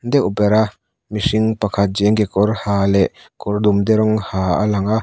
deuh ber a mihring pakhat jean kekawr ha leh kawr dumde rawng ha a lang a.